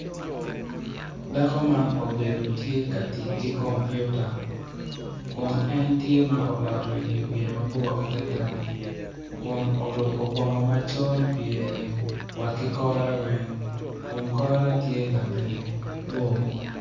Dako man obedo tye ka tic ki kompuita kun en tye oloto wiye mabor adada oruko bongo macol pyere wa ki kore weng kun kore tye labade bor.